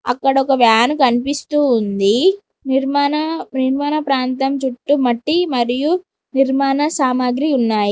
అక్కడ ఒక వ్యాన్ కనిపిస్తూ ఉంది నిర్మాణ నిర్మాణ ప్రాంతం చుట్టూ మట్టి మరియు నిర్మాణ సామాగ్రి ఉన్నాయి.